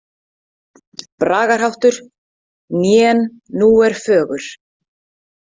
Bragarháttur: „Nén Nú er fögur“.